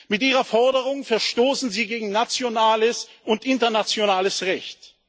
Mit Ihrer Forderung verstoßen Sie gegen nationales und internationales Recht.